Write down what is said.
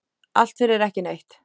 Allt fyrir ekki neitt.